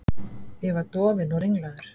Ég var dofinn og ringlaður.